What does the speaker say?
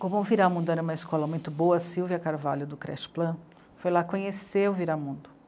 Como o Viramundo era uma escola muito boa, a Sílvia Carvalho, do Creche plan, foi lá conhecer o Viramundo.